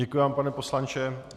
Děkuji vám, pane poslanče.